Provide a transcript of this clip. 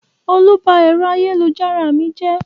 Olú ba ẹ̀rọ ayélujára mi jẹ́?